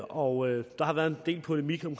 og der har været en del polemik om